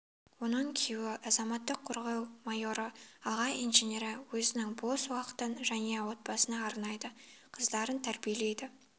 оның күйеуі азаматтық қорғау майоры аға инженері өзінің бос уақытын жәния отбасына арнайды қыздарын тәрбиелейді